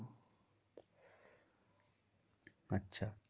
আচ্ছা